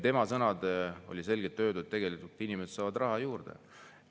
Tema sõnadega oli selgelt öeldud, et inimesed saavad raha juurde.